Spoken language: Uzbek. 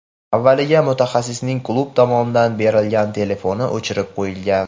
Avvaliga mutaxassisning klub tomonidan berilgan telefoni o‘chirib qo‘yilgan.